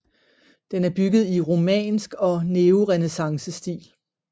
Den er bygget i romansk og neorenæssancestil